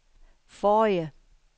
forrige